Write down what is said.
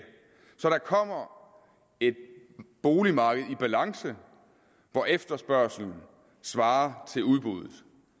så der kommer et boligmarked i balance hvor efterspørgslen svarer til udbuddet